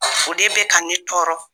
O de bɛ ka ne tɔɔrɔ